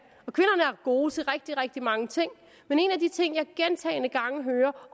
gode til rigtig rigtig mange ting men en af de ting jeg gentagne gange hører